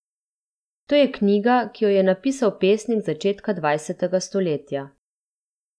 To je knjiga, ki jo je napisal pesnik z začetka dvajsetega stoletja.